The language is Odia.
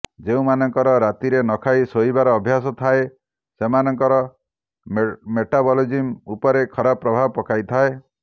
ଯେଉଁମାନଙ୍କର ରାତିରେ ନ ଖାଇ ଶୋଇବାର ଅଭ୍ୟାସ ଥାଏ ସେମାନଙ୍କର ମେଟାବଲିଜିମ୍ ଉପରେ ଖରାପ ପ୍ରଭାବ ପକାଇଥାଏ